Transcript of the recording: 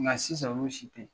Nka sisan olu si tɛ